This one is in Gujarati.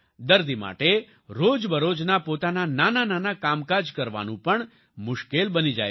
દર્દી માટે રોજબરોજના પોતાના નાનાંનાનાં કામકાજ કરવાનું પણ મુશ્કેલ બની જાય છે